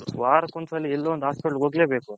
ವರಕೊಂದು ಸಲಿ ಎಲ್ಲೋ ಒಂದು Hospital ಹೋಗಲೇಬೇಕು